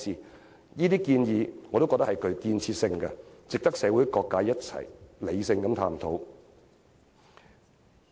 我認為這些建議均具建設性，值得社會各界一起理性探討。